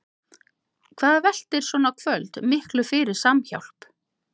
Hvað veltir svona kvöld miklu fyrir Samhjálp?